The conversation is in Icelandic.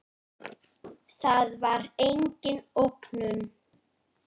Það var engin ógnun.